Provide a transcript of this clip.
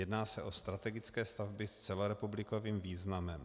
Jedná se o strategické stavby s celorepublikovým významem.